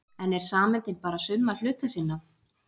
En er sameindin bara summa hluta sinna?